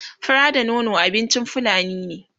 fura da nono abincin fulani ne